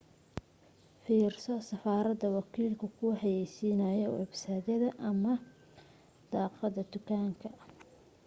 fiirso safarada wakiilku ku xayaysiinayo websayd ama daaqadda dukaanka